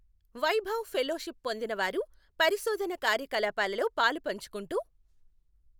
Vaibhav fellowship పొందిన వారు పరిశోధన కార్యకలాపాలలో పాలుపంచుకుంటూ